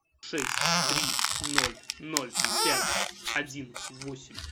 шесть три ноль ноль пять один восемь